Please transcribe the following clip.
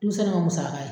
Denmisɛn ka musaka ye